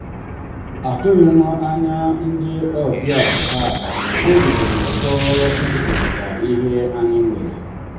atụghị m anya ndị ọbịa taa mana obi dị m ụtọ ịkekọrịta ihe anyị nwere.